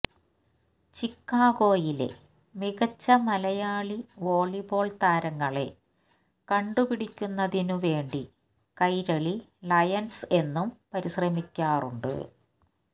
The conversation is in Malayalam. ചിക്കാഗോയിലെ മികച്ച മലയാളി വോളിബോള് താരങ്ങളെ കണ്ടുപിടിക്കുന്നതിനു വേണ്ടി കൈരളി ലയണ്സ് എന്നും പരിശ്രമിക്കാറുണ്ട്